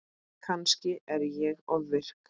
Kannski er ég ofvirk.